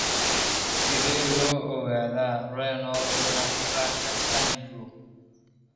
Sidee loo ogaadaa Renal nutcracker syndrome?